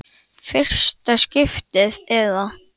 Fyrsta skiptið eða?